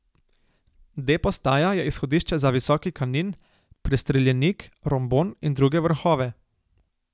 D postaja je izhodišče za Visoki Kanin, Prestreljenik, Rombon in druge vrhove.